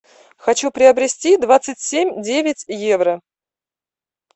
хочу приобрести двадцать семь девять евро